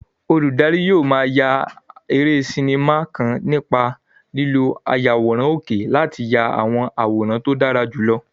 Olùdarí yóò máa ya eré sinimá kan nípa lílo ayàwòrán òkè láti ya àwọn àwòrán tó dára jùlọ.